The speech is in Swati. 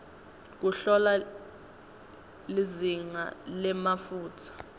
kuhlola lizinga lemafutsa